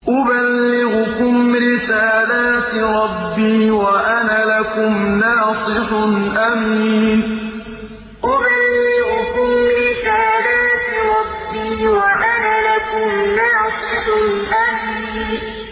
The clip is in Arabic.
أُبَلِّغُكُمْ رِسَالَاتِ رَبِّي وَأَنَا لَكُمْ نَاصِحٌ أَمِينٌ أُبَلِّغُكُمْ رِسَالَاتِ رَبِّي وَأَنَا لَكُمْ نَاصِحٌ أَمِينٌ